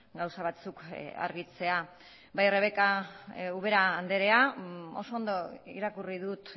gauza batzuk argitzea bai rebeka ubera andrea oso ondo irakurri dut